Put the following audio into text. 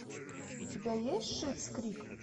у тебя есть шиттс крик